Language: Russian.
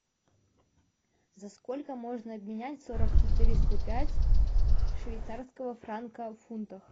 за сколько можно обменять сорок четыреста пять швейцарского франка в фунтах